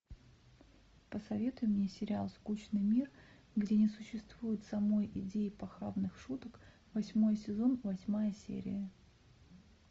посоветуй мне сериал скучный мир где не существует самой идеи похабных шуток восьмой сезон восьмая серия